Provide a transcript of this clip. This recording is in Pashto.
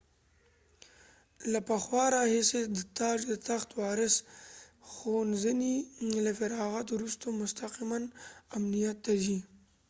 له پخوا راهیسې د تاج و تخت وارث د ښوونځي له فراغت وروسته مستقماً امنیت ته ځي